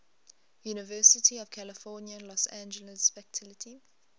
university of california los angeles faculty